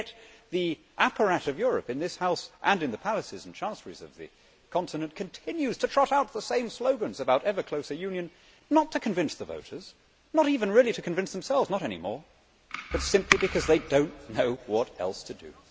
Yet the apparat of Europe in this House and in the palaces and chancelleries of the continent continues to trot out the same slogans about ever closer union, not to convince the voters, not even really to convince themselves not any more but simply because they do not know what else to do.